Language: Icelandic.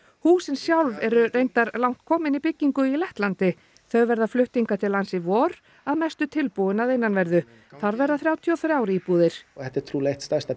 húsin sjálf eru reyndar langt komin í byggingu í Lettlandi þau verða flutt hingað til lands í vor að mestu tilbúin að innanverðu þar verða þrjátíu og þrjár íbúðir þetta er trúlega eitt stærsta